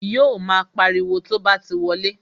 Yo mo pariwo to bá ti wọlé